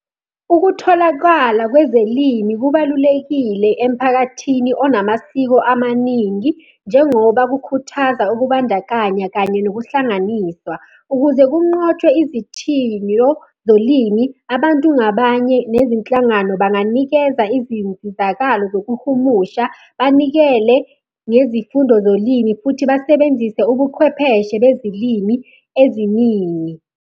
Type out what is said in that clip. Ukutholakala kwezelimi kubalulekile emphakathini onamasiko amaningi, njengoba kukhuthaza ukubandakanya kanye nokuhlanganiswa. Ukuze kunqotshwe izithiyo zolimi, abantu ngabanye nezinhlangano banganikeza izinsizakalo zokuhumusha, banikele ngezifundo zolimi, futhi basebenzise ubuchwepheshe bezilimi eziningi.